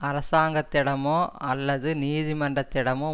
அரசாங்கத்திடமோ அல்லது நீதிமன்றத்திடமோ